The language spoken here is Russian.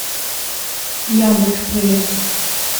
яндекс проверка